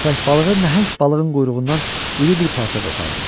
Köppək balığı nəhəng balığın quyruğundan iri bir parça qopardı.